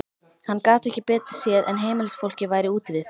Hann gat ekki betur séð en heimilisfólkið væri úti við.